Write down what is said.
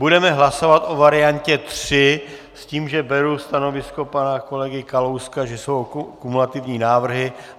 Budeme hlasovat o variantě 3 s tím, že beru stanovisko pana kolegy Kalouska, že jsou kumulativní návrhy.